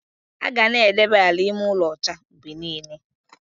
Aga na-edebe ala ime ụlọ ocha mgbe niile.